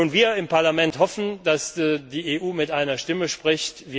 Ebene. Wir im Parlament hoffen, dass die EU mit einer Stimme spricht.